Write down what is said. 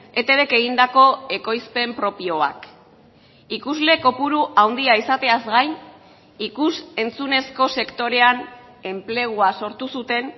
etbk egindako ekoizpen propioak ikusle kopuru handia izateaz gain ikus entzunezko sektorean enplegua sortu zuten